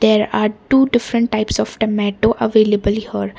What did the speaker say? there are two different types of tamoto available here.